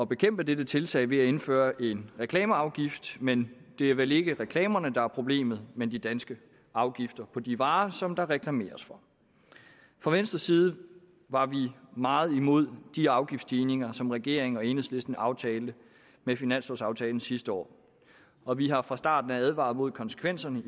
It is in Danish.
bekæmpe dette tiltag ved at indføre en reklameafgift men det er vel ikke reklamerne der er problemet men de danske afgifter på de varer som der reklameres for fra venstres side var vi meget imod de afgiftsstigninger som regeringen og enhedslisten aftalte med finanslovaftalen sidste år og vi har fra starten advaret imod konsekvenserne